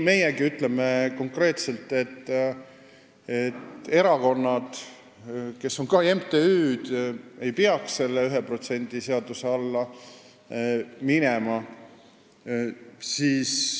Meiegi ütleme konkreetselt, et erakonnad, kes on ka MTÜ-d, ei peaks 1% seaduse alla minema.